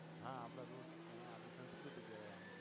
હા આપડા રૂટ્સ છે હા આપડી સંસ્કૃતિ કહેવાય આપડી